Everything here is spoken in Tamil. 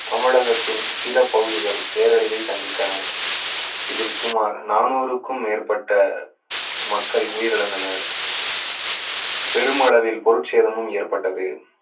தமிழகத்தின் சில பகுதிகள் பேரழிவை சந்தித்தன இதில் சுமார் நானூறுக்கும் மேற்பட்ட மக்கள் உயிரிழந்தனர் பெருமளவில் பொருட்சேதமும் ஏற்பட்டது